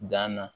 Dan na